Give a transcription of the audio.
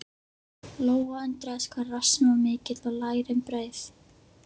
Lóa undraðist hvað rassinn var mikill og lærin breið.